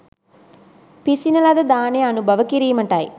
පිසින ලද දානය අනුභව කිරීමටයි